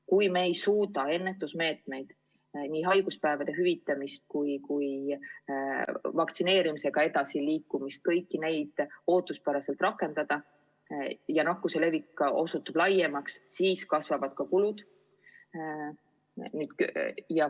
Kui me ei suuda ennetusmeetmeid – nii haiguspäevade hüvitamist kui ka vaktsineerimisega edasiliikumist – ootuspäraselt rakendada ja nakkuse levik osutub laiemaks, siis kasvavad ka kulud.